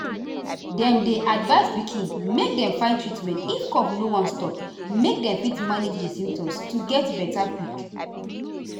dem dey advise pikin make dem find treatment if cough no wan stop make dem fit manage di symptoms to get beta quick.